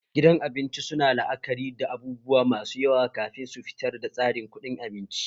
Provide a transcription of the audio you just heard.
Gidan abinci suna la'akari da abubuwa masu yawa kafin su fitar da tsarin kuɗin abinci